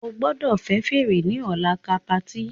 O gbọdọ fẹ fèrè ni ọla ká party!